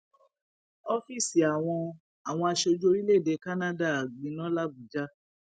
ọfíìsì àwọn àwọn aṣojú orílẹèdè canada gbiná labujà